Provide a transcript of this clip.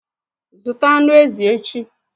Zụta anụ ezi echi!